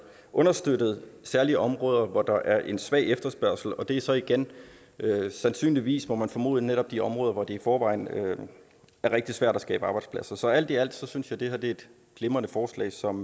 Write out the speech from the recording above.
understøttet særlig i områder hvor der er en svag efterspørgsel og det er så igen sandsynligvis må man formode netop de områder hvor det i forvejen er rigtig svært at skabe arbejdspladser så alt i alt synes jeg at det er et glimrende forslag som